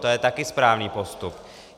To je také správný postup.